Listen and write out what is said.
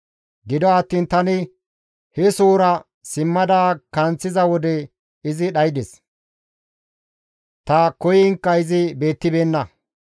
Gido attiin tani he sohora simmada kanththiza wode izi dhaydes; ta koyiinkka izi beettibeenna.